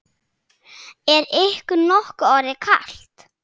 Er ykkur nokkuð orðið kalt?